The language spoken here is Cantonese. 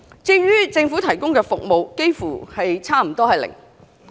至於政府提供的服務，幾乎是零。